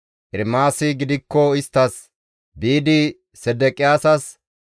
Ermaasi gidikko isttas, «Biidi Sedeqiyaasas,